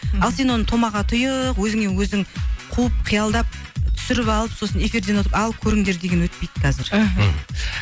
ал сен оны томаға тұйық өзіңе өзің қуып қиялдап түсіріп алып сосын эфиден отырып ал көріңдер деген өтпейді қазір мхм